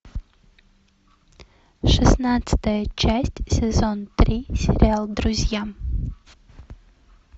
шестнадцатая часть сезон три сериал друзья